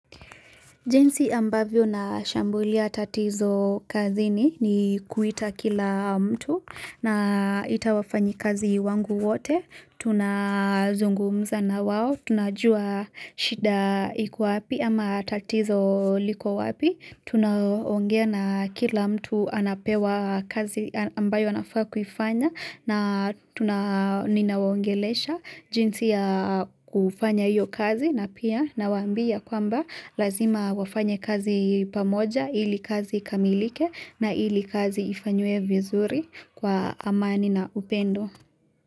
Jinsi ambavyo na shambulia tatizo kazi ni kuita kila mtu na itawafanyi kazi wangu wote, tunazungumza na wao, tunajua shida iku wapi ama tatizo liko wapi, Tuna onge na kila mtu anapewa kazi ambayo anafaa kufanya na tuna ninawongelesha jinsi ya kuifanya hiyo kazi na pia na wambia kwamba lazima wafanya kazi pamoja ili kazi ikamilike na ili kazi ifanywe vizuri kwa amani na upendo.